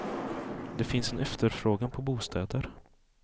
Det finns en efterfrågan på bostäder.